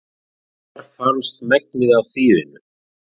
Þar fannst megnið af þýfinu